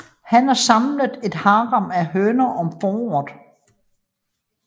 Hanner samler et harem af høner om foråret